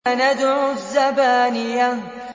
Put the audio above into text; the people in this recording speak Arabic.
سَنَدْعُ الزَّبَانِيَةَ